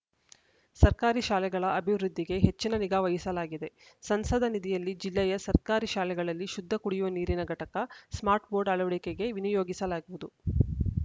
ಸರ್ಕಾರಿ ಶಾಲೆಗಳ ಅಭಿವೃದ್ಧಿಗೆ ಹೆಚ್ಚಿನ ನಿಗಾ ವಹಿಸಲಾಗಿದೆ ಸಂಸದ ನಿಧಿಯಲ್ಲಿ ಜಿಲ್ಲೆಯ ಸರ್ಕಾರಿ ಶಾಲೆಗಳಲ್ಲಿ ಶುದ್ಧ ಕುಡಿಯುವ ನೀರಿನ ಘಟಕ ಸ್ಮಾರ್ಟ್‌ ಬೋರ್ಡ್‌ ಅಳವಡಿಕೆಗೆ ವಿನಿಯೋಗಿಸಲಾಗುವುದು